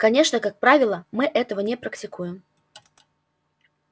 конечно как правило мы этого не практикуем